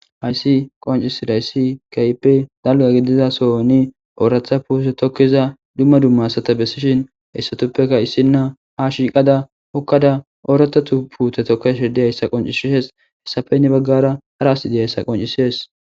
Haysi qoncisizidaysi kehippe dalga gidida sohoni oratha putte tokiza duma duma asata besishin issina ha shiqada hokada oratha putte tokashe dizaysa qoncises haysappe heni bagara hara asiy dizaysa qoncises